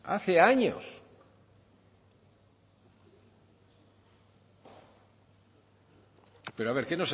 hace años pero a ver que